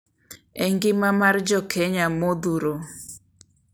E ngima mar jokenya modhuro